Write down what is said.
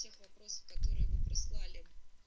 те вопросы которые вы прислали